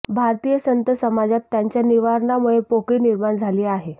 भारतीय संत समाजात त्यांच्या निर्वाणामुळे पोकळी निर्माण झाली आहे